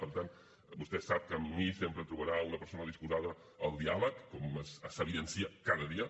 per tant vostè sap que en mi sempre trobarà una persona disposada al diàleg com s’evidencia cada dia